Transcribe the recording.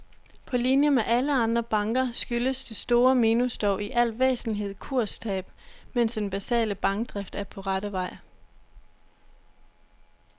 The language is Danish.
På linie med alle andre banker skyldes det store minus dog i al væsentlighed kurstab, mens den basale bankdrift er på rette vej.